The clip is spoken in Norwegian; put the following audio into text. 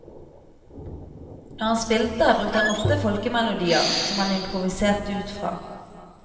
Når han spilte brukte han ofte folkemelodier, som han improviserte ut fra.